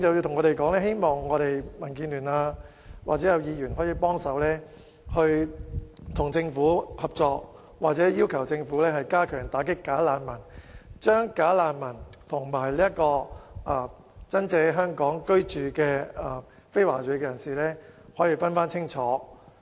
他們希望民建聯或議員與政府合作，並要求政府加強打擊"假難民"，以及將"假難民"與在港居住的非華裔人士區分清楚。